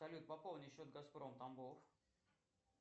салют пополни счет газпром тамбов